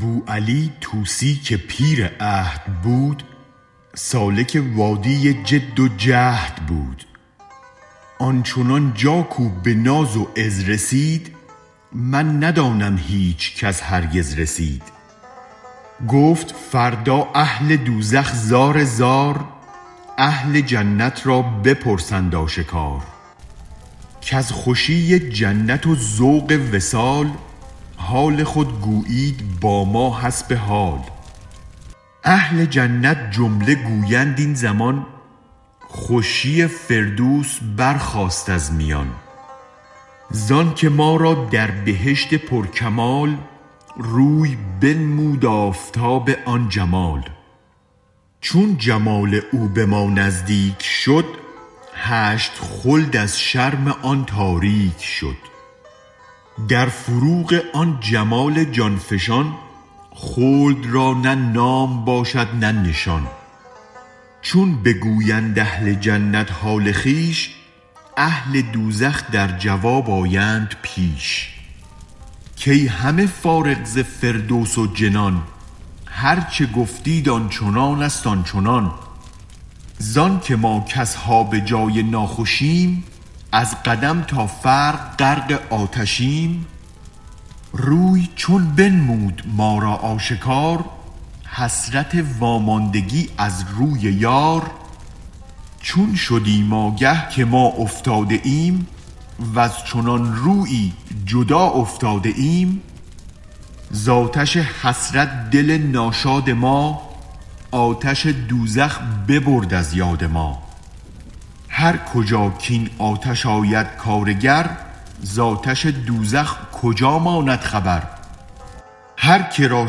بوعلی طوسی که پیر عهد بود سالک وادی جد و جهد بود آن چنان جا کو به ناز و عز رسید من ندانم هیچکس هرگز رسید گفت فردا اهل دوزخ زار زار اهل جنت را بپرسند آشکار کز خوشی جنت و ذوق وصال حال خود گویید با ما حسب حال اهل جنت جمله گویند این زمان خوشی فردوس برخاست از میان زانک ما را در بهشت پر کمال روی بنمود آفتاب آن جمال چون جمال او به ما نزدیک شد هشت خلد از شرم آن تاریک شد در فروغ آن جمال جان فشان خلد را نه نام باشد نه نشان چون بگویند اهل جنت حال خویش اهل دوزخ در جواب آیند پیش کای همه فارغ ز فردوس و جنان هرچ گفتید آنچنانست آنچنان زانک ما کاصحاب جای ناخوشیم از قدم تا فرق غرق آتشیم روی چون بنمود ما را آشکار حسرت واماندگی از روی یار چون شدیم اگه که ما افتاده ایم وز چنان رویی جدا افتاده ایم ز آتش حسرت دل ناشاد ما آتش دوزخ ببرد از یاد ما هر کجا کین آتش آید کارگر ز آتش دوزخ کجا ماند خبر هرک را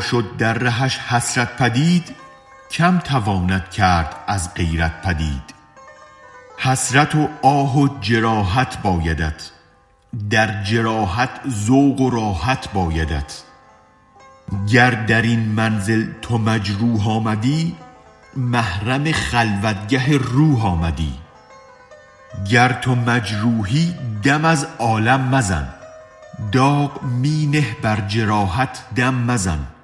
شد در رهش حسرت پدید کم تواند کرد از غیرت پدید حسرت و آه و جراحت بایدت در جراحت ذوق و راحت بایدت گر درین منزل تو مجروح آمدی محرم خلوت گه روح آمدی گر تو مجروحی دم از عالم مزن داغ می نه بر جراحت دم مزن